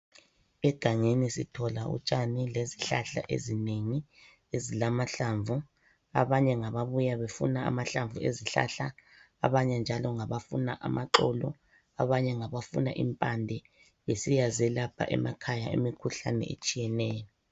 Egangeni sithola utshani lezihlahla ezinengi ezilamahlamvu, abanye ngababuya befuna amahlamvu ezihlahla, abanye njalo ngabafuna amaxolo ,abanye ngabafuna impande, besiya zelapha emakhaya imikhuhlane etshiyeneyo.